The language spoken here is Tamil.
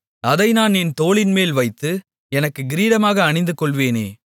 அதை நான் என் தோளின்மேல் வைத்து எனக்குக் கிரீடமாக அணிந்துகொள்வேனே